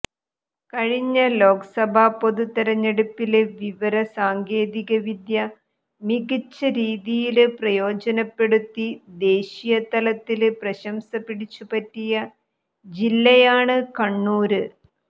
കഴിഞ്ഞ ലോക്സഭാ പൊതുതെരഞ്ഞെടുപ്പില് വിവര സാങ്കേതികവിദ്യ മികച്ച രീതിയില് പ്രയോജനപ്പെടുത്തി ദേശീയതലത്തില് പ്രശംസ പിടിച്ചുപറ്റിയ ജില്ലയാണ് കണ്ണൂര്